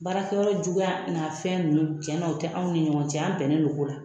Baarakɛ yɔrɔ juguya n'a fɛn nunnu tiɲɛ na o tɛ anw ni ɲɔgɔn cɛ. An bɛnnen don ko la.